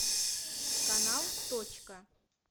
канал точка